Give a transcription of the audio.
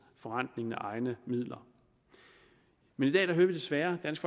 forrentningen af egne midler men i dag hører vi desværre dansk